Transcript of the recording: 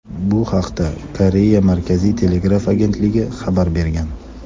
Bu haqda Koreya Markaziy telegraf agentligi xabar bergan.